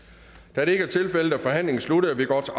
da det ikke er tilfældet er forhandlingen sluttet og vi går til